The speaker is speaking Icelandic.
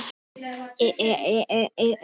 Hér að neðan má sjá tímasetningu leikjanna.